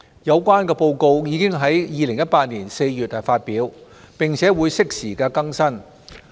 有關報告已於2018年4月發表，並會適時更新。